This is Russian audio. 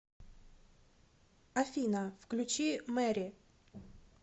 афина включи мэри